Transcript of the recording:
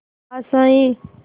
आशाएं